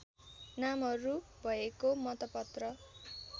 नामहरू भएको मतपत्र